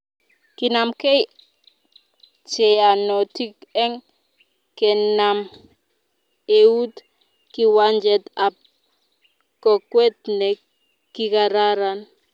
Kinamke cheyanotin eng kenam eut kiwanjet ab kokwet ne kikararan